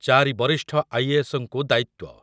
ଚାରି ବରିଷ୍ଠ I A S ଙ୍କୁ ଦାୟିତ୍ୱ ।